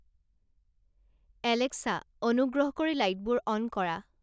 Alexa অনুগ্ৰহ কৰি লাইটবোৰ অন কৰা